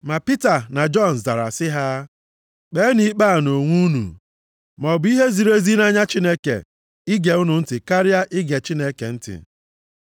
Ma Pita na Jọn zara sị ha, “Kpeenụ ikpe a nʼonwe unu, maọbụ ihe ziri ezi nʼanya Chineke ige unu ntị karịa ige Chineke ntị?